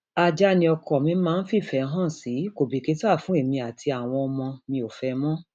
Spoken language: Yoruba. ajá ni ọkọ mi máa ń fìfẹ hàn sí kò bìkítà fún èmi àtàwọn ọmọ mi ò fẹ ẹ mọ